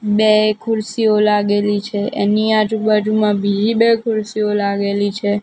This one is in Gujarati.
બે ખુરસીઓ લાગેલી છે એની આજુબાજુમાં બીજી બે ખુરસીઓ લાગેલી છે.